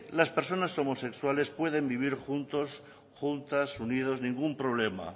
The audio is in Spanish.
las personas homosexuales puede vivir juntos juntas unidos ningún problema